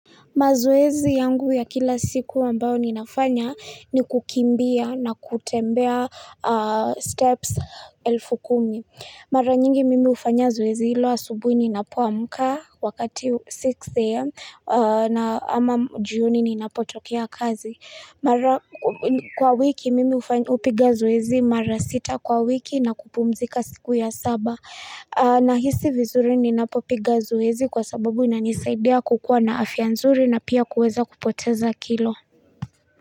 Mazoezi yangu ya kila siku ambayo ninafanya ni kukimbia na kutembea aah steps elfu kumi. Mara nyingi mimi ufanya zoezi ilo asubuhi ninapuamuka wakati 6 a.m. Na ama juni ninapotokea kazi. Mara kwa wiki mimi upiga zoezi mara 6 kwa wiki na kupumzika siku ya 7. Na hisi vizuri ninapopiga zoezi kwa sababu inanisaidia kukuwa na afia nzuri na pia kuweza kupoteza kilo.